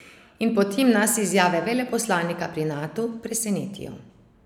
In potem nas izjave veleposlanika pri Natu presenetijo?